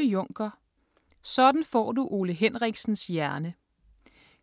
Juncker, Ole: Sådan får du Ole Henriksens hjerne